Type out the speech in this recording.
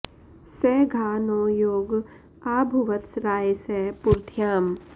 स घा॑ नो॒ योग॒ आ भु॑व॒त्स रा॒ये स पुरं॑ध्याम्